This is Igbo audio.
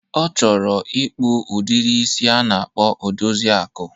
Ọ chọrọ ịkpụ udiri isi a na-akpọ Odoziakụ.